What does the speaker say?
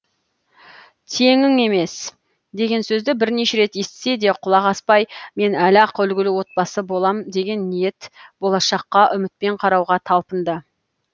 теңің емес деген сөзді бірнеше рет естісе де құлақ аспай мен әлі ақ үлгілі отбасы болам деген ниет болашаққа үмітпен қарауға талпынды